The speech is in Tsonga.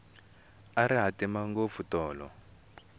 a ri hatima ngopfu tolo